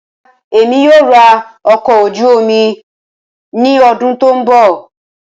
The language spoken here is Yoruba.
Rara, Emi kii yoo ra ọkọ̀ ojú omi ni ọdun to nbọ.